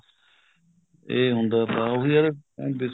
ਇਹ ਹੁੰਦਾ ਤਾ ਉਹੀ ਆ ਹੁਣ